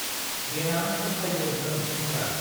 देनां फस्थायगोन नों सेंग्रा।